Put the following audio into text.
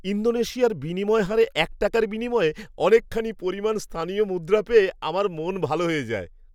ইন্দোনেশিয়ার বিনিময় হারে এক টাকার বিনিময়ে অনেকখানি পরিমাণ স্থানীয় মুদ্রা পেয়ে আমার মন ভালো হয়ে যায়।